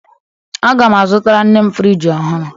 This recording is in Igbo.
Aga m azụtara nne m fridge ọhụrụ